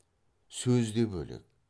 сөз де бөлек